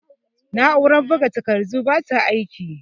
Na'urar buga takardun bata aiki.